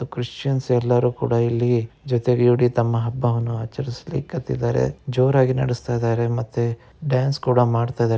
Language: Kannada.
ಕ್ರಿಶ್ಚಿಯನ್ಸ್ ಎಲ್ಲಾರು ಕೂಡ ಇಲ್ಲಿ ಜೊತೆಗೂಡಿ ತಮ್ಮ ಹಬ್ಬವನ್ನು ಆಚರಿಸಲಿಕ್ಕೆ ಹತ್ತಿದರೆ ಜೋರಾಗಿ ನಡೆಸುತ್ತಿದ್ದಾರೆ ಮತ್ತೆ ಡಾನ್ಸ್ ಕೂಡ ಮಾಡ್ತಾಇದರೆ.